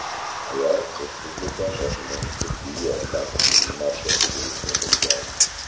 Ayol Respublika shoshilinch tibbiy yordam ilmiy markaziga yetkazilgan.